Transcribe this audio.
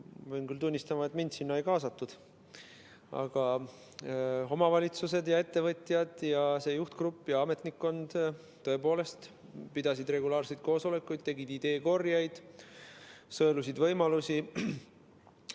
Ma pean küll tunnistama, et mind sinna ei kaasatud, aga omavalitsused, ettevõtjad, see juhtgrupp ja ametnikkond tõepoolest pidasid regulaarseid koosolekuid, tegid ideekorjeid, sõelusid võimalusi.